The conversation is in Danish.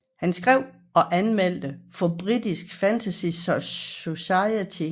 Han skrev og anmeldte for British Fantasy Society